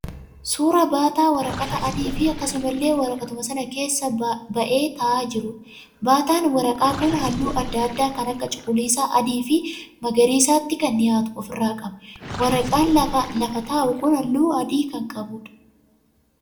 Suuraa baataa waraqata adii fi akkasumallee waraqatuma sana keessaa ba'ee ta'aa jiruudha. Baataan waraqaa kun halluu adda addaa kan akka cuquliisa, adii fi magariisatti kan dhiyaatu ofirraa qaba. Waraqaan lafa taa'u kun halluu adii kan qabuudha.